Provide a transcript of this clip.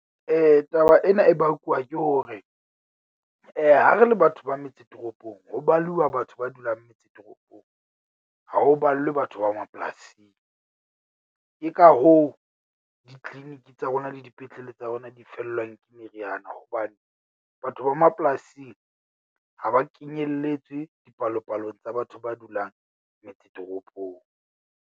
Taba ena e bakuwa ke hore, ha re le batho ba metse toropong. Ho baluwa batho ba dulang metse toropong ha ho ballwe batho ba mapolasing. Ke ka hoo di-clinic tsa rona le dipetlele tsa rona di fellwang ke meriana, hobane batho ba mapolasing ha ba kenyelletswe dipalopalong tsa batho ba dulang metse toropong.